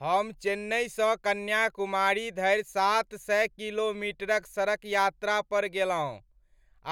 हम चेन्नईसँ कन्याकुमारी धरि सात सए किलोमीटरक सड़क यात्रा पर गेलहुँ